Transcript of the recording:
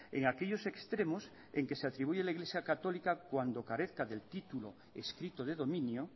en aquellos extremos en que se atribuye a la iglesia católica cuando carezca del título escrito de dominio